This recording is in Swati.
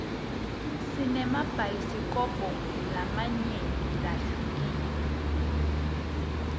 sinemabhayisikobho lamanyenti lahlukile